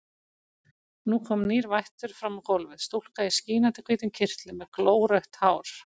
Nú kom nýr vættur fram á gólfið, stúlka í skínandi hvítum kyrtli með glórautt hár.